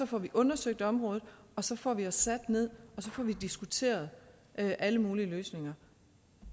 får vi undersøgt området og så får vi os sat ned og diskuteret alle mulige løsninger